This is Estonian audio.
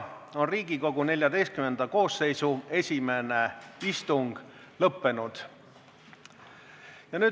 Riigikogu XIV koosseisu esimene istung on lõppenud.